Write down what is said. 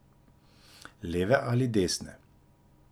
Leve ali desne.